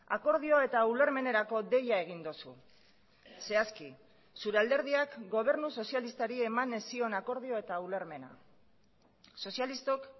akordio eta ulermenerako deia egin duzu zehazki zure alderdiak gobernu sozialistari eman ez zion akordio eta ulermena sozialistok